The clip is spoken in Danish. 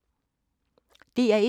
DR1